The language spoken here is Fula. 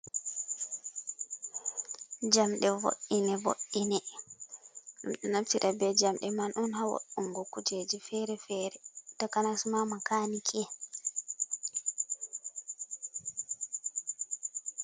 Jamɗe vo'ine vo'ine. Ɓe naftira bee jamɗe man on haa wa'ungo kuujeji feere-feere takanas maa makaaniki en.